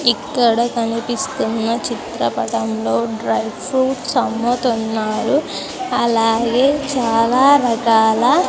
ఇక్కడ కనిపిస్తున్న చిత్రపటం లో డ్రై ఫ్రూట్స్ అమ్ముతున్నారు అలాగే చాలా రకాల.